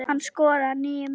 Hann skoraði níu mörk.